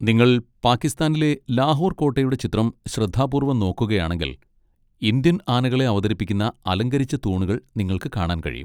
നിങ്ങൾ പാകിസ്ഥാനിലെ ലാഹോർ കോട്ടയുടെ ചിത്രം ശ്രദ്ധാപൂർവ്വം നോക്കുകയാണെങ്കിൽ, ഇന്ത്യൻ ആനകളെ അവതരിപ്പിക്കുന്ന അലങ്കരിച്ച തൂണുകൾ നിങ്ങൾക്ക് കാണാൻ കഴിയും.